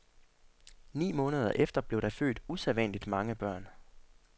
Ni måneder efter blev der født usædvanligt mange børn.